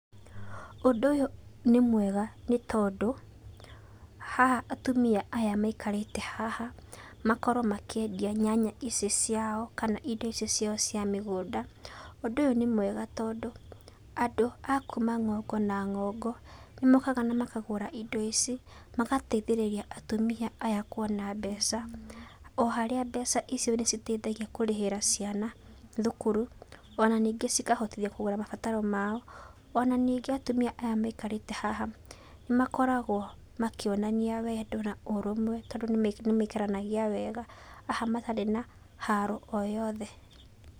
Ũndũ ũyũ nĩ mwega nĩ tondũ haha atumia aya maikarĩte haha makorwo makĩendia nyanya icio ciao kana indo icio ciao cia mĩgũnda. Ũndũ ũyũ nĩ mwega tondũ andũ a kuma ng'ongo na ng'ongo, nĩmokaga na makagũra indo ici, magateithĩrĩria atumia aya kuona mbeca. O harĩa mbeca icio nĩ citeithagia kũrĩhĩra ciana thukuru ona ningĩ cikahotithia kũgũra mabataro mao. Ona ningĩ atumia aya maikarĩte haha nĩmakoragwo makĩonania wendo na ũrũmwe tondũ nĩmaikaranagia wega aha matarĩ na haro o yothe.